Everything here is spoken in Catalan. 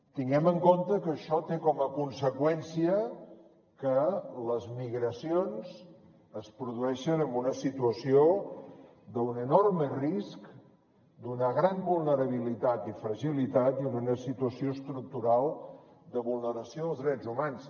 tinguem en compte que això té com a conseqüència que les migracions es produeixen en una situació d’un enorme risc d’una gran vulnerabilitat i fragilitat i d’una situació estructural de vulneració dels drets humans